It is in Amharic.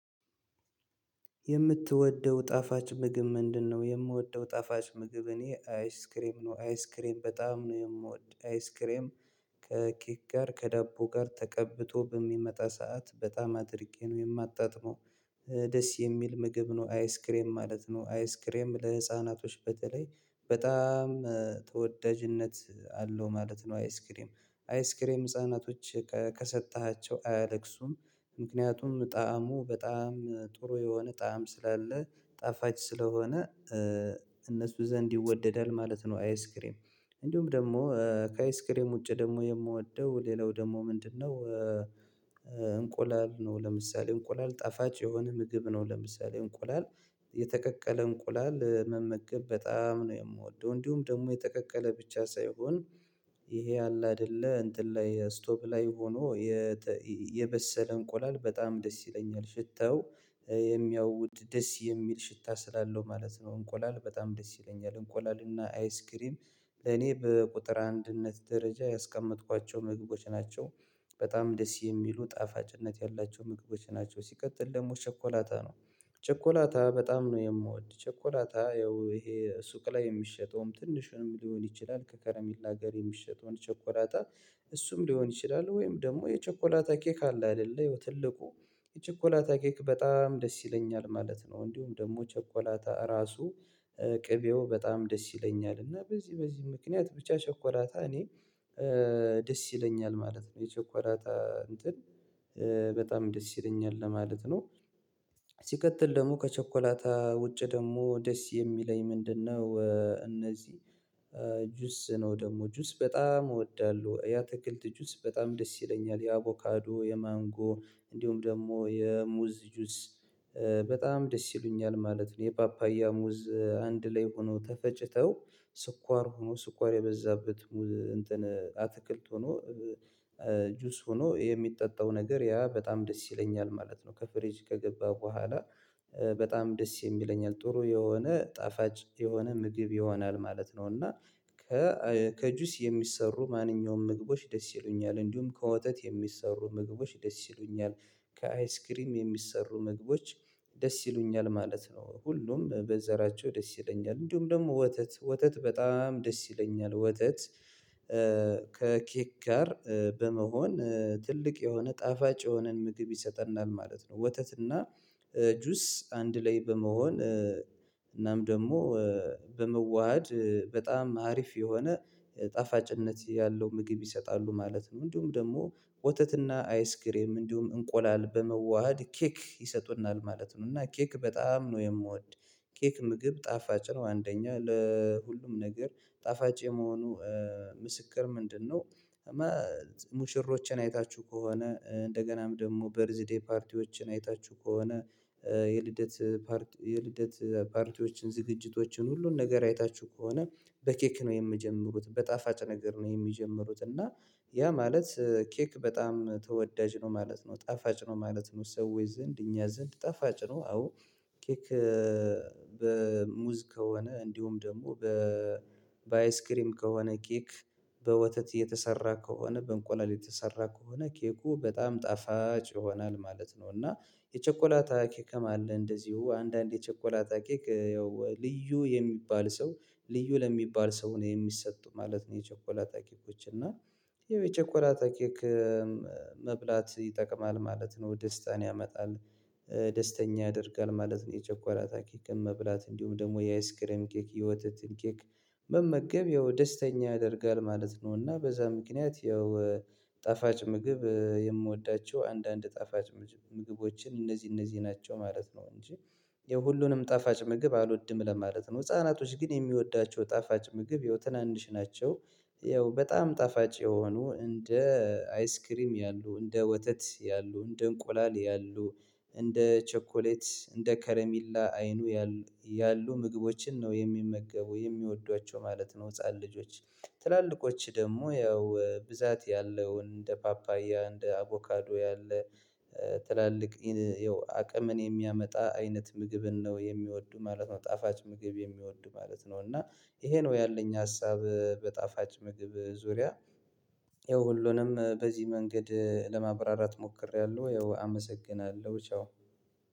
የምትወደው ጣፋጭ ምግብ ምንድን ነው? የምወደው ጣፋጭ ምግብ እኔ አይስክሬም ነው አይስክሬም በጣም ነው የምወድ አይስክሬም። ከኬክ ጋር ከዳቦ ጋር ተቀብቶ በሚመጣ ሰዓት በጣም አድርጌ ነው የማጣጥመው። ደስ የሚል ምግብ ነው አይስክሬም ማለት ነው አይስክሬም ለህፃናቶች በተለይ በጣም ተወዳጅነት አለው ማለት ነው አይስክሬም አይስክሬም ህፃናቶች ከሰጠሃቸው አያለቅሱም። ምክንያቱም ጣዕሙ በጣም ጥሩ የሆነ ጣዕም ስላለው ጣፋጭ ስለሆነ እነሱ ዘንድ ይወደዳል ማለት ነው። አይስክሬም እንዲሁም ደግሞ ከአይስክሬም ውጭ ደግሞ የምወደው ሌላው ደግሞ ምንድነው? እንቁላል ነው ለምሳሌ እንቁላል ጣፋጭ የሆነ ምግብ ነው ለምሳሌ እንቁላል የተቀቀለ እንቁላል መመገብ በጣም ነው የምወደው። እንዲሁም ደግሞ የተቀቀለ ብቻ ሳይሆን ይሄ አለ አይደለ እንትን ላይ ስቶቭ ላይ ሆኖ የበሰለ እንቁላል በጣም ደስ ይለኛል። ሽታው የሚያውድ ደስ የሚል ሽታ ስላለው ማለት ነው እንቁላል በጣም ደስ ይለኛል እንቁላል እና አይስክሪም። እኔ በቁጥር አንደኛነት ደረጃ ያስቀመጥኳቸው ምግቦች ናቸው። በጣም ደስ የሚሉ ጣፋጭነት ያላቸው ምግቦች ናቸው ሲቀጥል ደግሞ ቸኮላታ ነው። ቸኮላታ በጣም ነው የምወድ ቸኮላታ ያው ይሄ ሱቅ ላይ የሚሸጠውም ትንሹንም ሊሆን ይችላል ከከረሚላ ጋር የሚሸጠውን ቸኮላታ። እሱም ሊሆን ይችላል ወይም ደግሞ የቸኮላታ ኬክ አለ አይደለ ትልቁ የቸኮላታ ኬክ በጣም ደስ ይለኛል ማለት ነው። እንዲሁም ደግሞ ቸኮላታ ራሱ ቅቤው በጣም ደስ ይለኛል እና በዚህ በዚህ ምክንያት ብቻ ቸኮላታ እኔ ደስ ይለኛል ማለት ነው። የቸኮላታ እንትን በጣም ደስ ይለኛል ለማለት ነው። ሲቀጥል ደግሞ ከቸኮላታ ውጪ ደግሞ ደስ የሚለኝ ምንድነው? እነዚህ ጁስ ነው ደግሞ ጁስ በጣም እወዳለሁ የአትክልት ጁስ በጣም ደስ ይለኛል። የአቮካዶ የማንጎ እንዲሁም ደግሞ የሙዝ ጁስ በጣም ደስ ይሉኛል ማለት ነው። የፓፓያ ሙዝ አንድ ላይ ሆኖ ተፈጭተው ስኳር ሁኖ ስኳር የበዛበት እንትን አትክልት ሁኖ ጁስ ሆኖ የሚጠጣው ነገር ያ በጣም ደስ ይለኛል ማለት ነው። ከፍሪጅ ከገባ በኋላ በጣም ደስ የሚለኝ ጥሩ የሆነ ጣፋጭ የሆነ ምግብ ይሆናል ማለት ነው። እና ከጁስ የሚሰሩ ማንኛውም ምግቦች ደስ ይሉኛል እንዲሁም ከወተት የሚሰሩ ምግቦች ደስ ይሉኛል ከአይስክሬም የሚሰሩ ምግቦች ደስ ይሉኛል ማለት ነው። ሁሉም በዘራቸው ደስ ይለኛል እንዲሁም ደግሞ ወተት ወተት በጣም ደስ ይለኛል ወተት ከኬክ ጋር በመሆን ትልቅ የሆነ ጣፋጭ የሆነን ምግብ ይሰጠናል ማለት ነው። ወተትና ጁስ አንድ ላይ በመሆን እናም ደግሞ በመዋሃድ በጣም አሪፍ የሆነ ጣፋጭነት ያለው ምግብ ይሰጣሉ ማለት ነው። እንዲሁም ደግሞ ወተትና አይስክሬም እንዲሁም እንቁላል በመዋሃድ ኬክ ይሰጡናል ማለት ነው። እና ኬክ በጣም ነው የምወድ ኬክ ምግብ ጣፋጭ ነው። አንደኛ ለሁሉም ነገር ጣፋጭ የመሆኑ ምስክር ምንድነው? ሙሽሮችን አይታችሁ ከሆነ እንደገናም ደግሞ በርዝ ደይ ፓርቲዎችን አይታችሁ ከሆነ የልደት ፓርቲዎችን ዝግጅቶችን ሁሉን ነገር አይታችሁ ከሆነ በኬክ ነው የሚጀምሩት በጣፋጭ ነገር ነው የሚጀምሩት እና ያ ማለት ኬክ በጣም ተወዳጅ ነው ማለት ነው። ጣፋጭ ነው ማለት ነው ሰዎች ዘንድ እኛ ዘንድ ጣፋጭ ነው። አዎ ኬክ በሙዝ ከሆነ እንዲሁም ደግሞ በአይስክሬም ከሆነ ኬክ በወተት የተሰራ ከሆነ በእንቁላል የተሰራ ከሆነ ኬኩ በጣም ጣፋጭ ይሆናል ማለት ነው። እና የቸኮላታ ኬክም አለ እንደዚሁ አንዳንድ የቸኮላታ ኬክ ያው ልዩ የሚባል ሰው ልዩ ለሚባል ሰው ነው የሚሰጡ ማለት ነው። የቸኮላ ታኬኮች እና የቸኮላታ ኬክ መብላት ይጠቅማል ማለት ነው ደስታን ያመጣል ደስተኛ ያደርጋል ማለት ነው። የቸኮላታ ኬክን መብላት እንዲሁም ደግሞ የአይስክሬም ኬክ የወተትን ኬክ መመገብ ያው ደስተኛ ያደርጋል ማለት ነው። እና በዛ ምክንያት ያው ጣፋጭ ምግብ የምወዳቸው አንዳንድ ጣፋጭ ምግቦችን እነዚህ እነዚህ ናቸው ማለት ነው። እንጂ የሁሉንም ጣፋጭ ምግብ አልወድም ለማለት ነው። ህፃናቶች ግን የሚወዷቸው ጣፋጭ ምግብ ይኸው ትናንሽ ናቸው ይኸው በጣም ጣፋጭ የሆኑ እንደ አይስክሬም ያሉ እንደ ወተት ያሉ እንደ እንቁላል ያሉ እንደ ቸኮሌት እንደ ከረሜላ አይኑ ያሉ ምግቦችን ነው የሚመገቡ የሚወዷቸው ማለት ነው። ህፃን ልጆች ትላልቆች ደግሞ ያው ብዛት ያለውን እንደ ፓፓያ እንደ አቮካዶ ያለ ትላልቅ ያው አቅምን የሚያመጣ አይነት ምግብን ነው የሚወዱ ማለት ነው። ጣፋጭ ምግብ የሚወዱ ማለት ነው። እና ይሄ ነው ያለኝ ሀሳብ በጣፋጭ ምግብ ዙሪያ። ይኸው ሁሉንም በዚህ መንገድ ለማብራራት ሞክሬያለሁ። ይኸው አመሰግናለሁ ቻው።